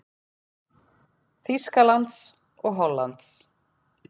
Þýskalands og Hollands.